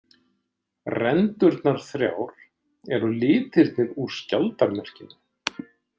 Rendurnar þrjár eru litirnir úr skjaldarmerkinu.